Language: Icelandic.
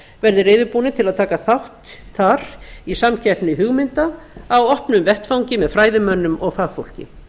verði reiðubúnir til að taka þátt þar í samkeppni hugmynda á opnum vettvangi með fræðimönnum og fagfólki